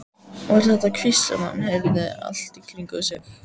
Var þetta hvísl sem hann heyrði allt í kringum sig?